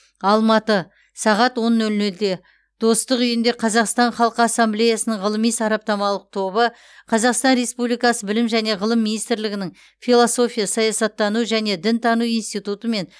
алматы сағат он нөл нөлде достық үйінде қазақстан халқы ассамблеясының ғылыми сараптамалық тобы қазақстан республикасы білім және ғылым министрлігінің философия саясаттану және дінтану институтымен